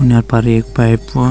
यां पर एक पाइप ।